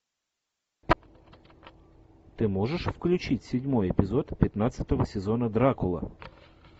ты можешь включить седьмой эпизод пятнадцатого сезона дракула